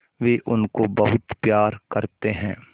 वे उनको बहुत प्यार करते हैं